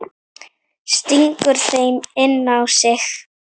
Stingur þeim inn á sig.